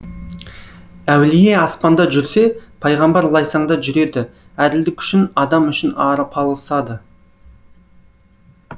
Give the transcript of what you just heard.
әулие аспанда жүрсе пайғамбар лайсаңда жүреді әділдік үшін адам үшін арпалысады